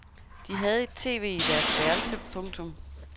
De havde et tv i deres værelse. punktum